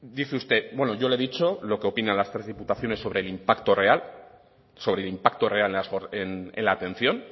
dice usted bueno yo he le dicho lo que opinan las tres diputaciones sobre el impacto real en la atención